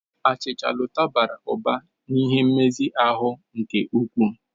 Achịcha Lota bara ụba n'ihe nmezi ahụ nke ukwuu.